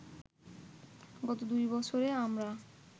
গত দুই বছরে আমরা